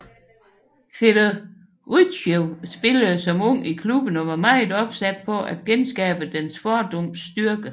Fedorytjev spillede som ung i klubben og var meget opsat på at genskabe dens fordums styrke